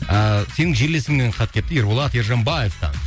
ыыы сенің жерлесіңнен хат келіпті ерболат ержанбаевтан